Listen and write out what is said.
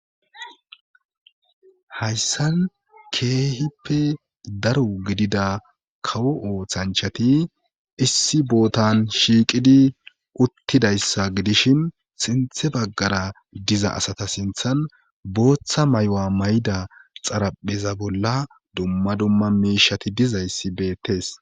hayssan keehippe daro gidida kawo ooththanchati issi bootan shiiqidi uttidayssa gidishin sinthe baggara diza asata sinthan booththa may7a may7da xarapheza bolla dumma dumma miishati dizayssi beettes